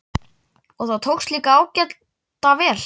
Og það tókst líka ágæta vel.